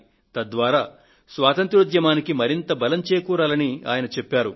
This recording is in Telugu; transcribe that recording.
తద్వారా స్వాతంత్య్రోద్యమానికి మరింత బలం చేకూరాలని ఆయన చెప్పారు